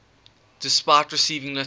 despite receiving little